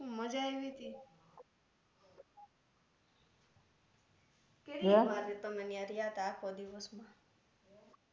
મજા આઈવી તી કેટલી વાર તમે ત્યા રહ્યા તા આખો દિવસ મા